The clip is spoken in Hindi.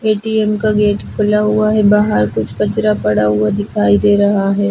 ए_टी_एम का गेट खुला हुआ है बाहर कुछ कचरा पड़ा हुआ दिखाई दे रहा है।